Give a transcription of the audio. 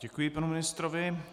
Děkuji panu ministrovi.